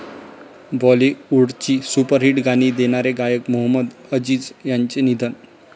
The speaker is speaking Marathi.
बाॅलिवूडची सुपरहिट गाणी देणारे गायक मोहम्मद अजीज यांचं निधन